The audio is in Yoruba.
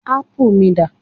ápù mi dà